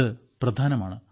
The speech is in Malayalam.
ഇത് പ്രധാനമാണ്